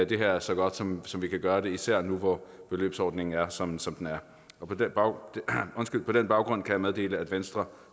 det her er så godt som som vi kan gøre det især nu hvor beløbsordningen er som som den er og på den baggrund kan jeg meddele at venstre